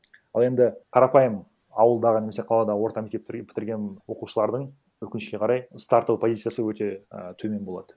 ал енді қарапайым ауылдағы немесе қалада орта мектеп бітірген оқушылардың өкінішке қарай стартовый позициясы өте і төмен болады